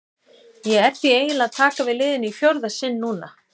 Ég er því eiginlega að taka við liðinu í fjórða sinn núna.